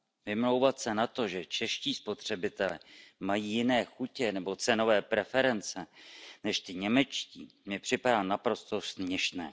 Vymlouvat se na to, že čeští spotřebitelé mají jiné chutě nebo cenové preference než ti němečtí, mi připadá naprosto směšné.